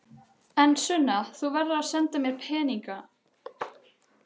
En Sunna, þú verður að senda mér peninga.